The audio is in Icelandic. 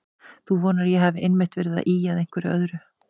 Þú vonar að ég hafi einmitt verið að ýja að einhverju öðru.